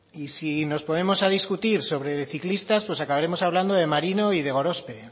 y si nos ponemos a discutir sobre ciclistas pues acabaremos hablando de marino y de gorospe